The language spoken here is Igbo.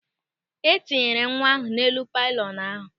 E tinyekwala nwa ahụ n'elu pịlịọnụ ahụ!